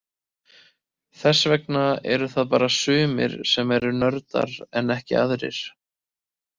Þess vegna eru það bara sumir sem eru nördar en ekki aðrir.